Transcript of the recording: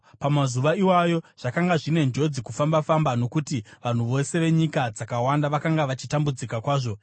Pamazuva iwayo zvakanga zvine njodzi kufamba-famba nokuti vanhu vose venyika dzakawanda vakanga vachitambudzika kwazvo.